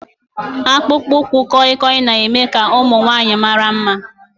Akpụkpọ ụkwụ kọịkọị na-eme ka ụmụ nwanyị mara mma